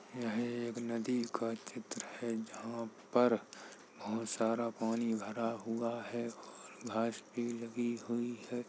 यह एक नदी का चित्र है जहाँ पर बहोत सारा पानी भरा हुआ है और घास भी लगी हुई है।